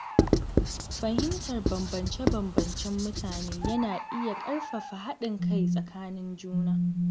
Fahimtar bambance-bambancen mutane yana iya ƙarfafa haɗin kai tsakanin juna.